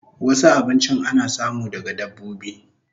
Wasu abinchin ana samu daga dabbobi